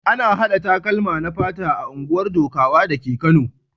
Ana haɗa takalma na fata a unguwar Dukawa dake Kano.